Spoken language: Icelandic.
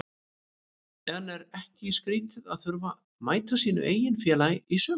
En er ekki skrítið að þurfa að mæta sínu eigin félagi í sumar?